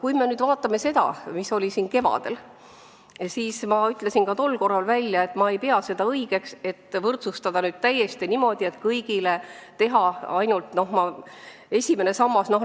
Mis puutub eelnõusse, mis oli siin arutusel kevadel, siis ma ütlesin juba siis välja, et ma ei pea õigeks võrdsustada pensione niimoodi, et teha kõigile ainult esimene sammas.